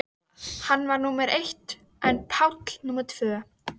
Hann var númer eitt en Páll númer tvö.